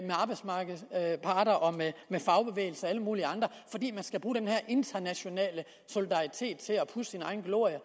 arbejdsmarkedets parter og med fagbevægelse og alle mulige andre fordi man skal bruge den her internationale solidaritet til at pudse sin egen glorie